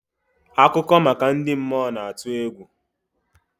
Akụkọ maka ndị mmụọ na-atụ egwu.